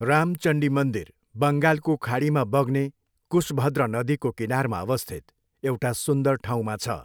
रामचण्डी मन्दिर बङ्गालको खाडीमा बग्ने कुसभद्र नदीको किनारमा अवस्थित एउटा सुन्दर ठाउँमा छ।